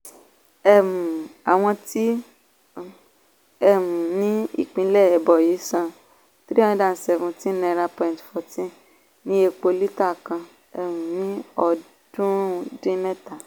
um àwọn tí ó um ní ìpínlẹ̀ ebonyi san # three hundred seventeen point one four ní epo lítà kan um ní ọdúnrún dín mẹ́ta.